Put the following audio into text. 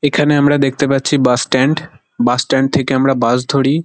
এখানে আমরা দেখতে পাচ্ছি বাস স্ট্যান্ড . বাস স্ট্যান্ড থেকে আমরা বাস ধরি।